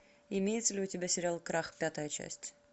имеется ли у тебя сериал крах пятая часть